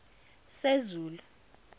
sezulu